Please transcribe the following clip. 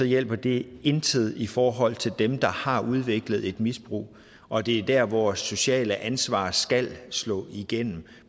hjælper det intet i forhold til dem der har udviklet et misbrug og det er der vores sociale ansvar skal slå igennem